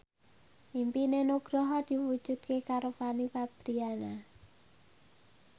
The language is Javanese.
impine Nugroho diwujudke karo Fanny Fabriana